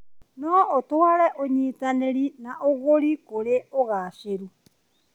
No ũtwarĩre ũnyitanĩri na ũgũri kũrĩ ũgacĩĩru.